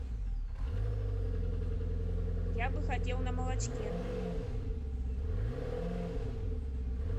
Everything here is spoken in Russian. я бы хотел на молочке